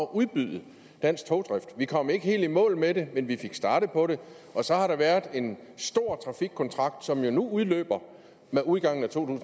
udbyde dansk togdrift vi kom ikke helt i mål med det men vi fik startet på det og så har der været en stor trafikkontrakt som jo nu udløber med udgangen af to